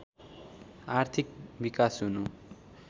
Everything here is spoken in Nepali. आर्थिक विकास हुनु